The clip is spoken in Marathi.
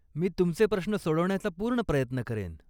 मी तुमचे प्रश्न सोडवण्याचा पूर्ण प्रयत्न करेन.